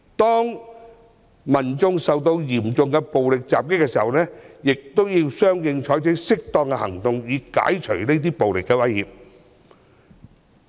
當民眾受到嚴重暴力襲擊時，警方要相應採取適當行動以解除暴力威脅。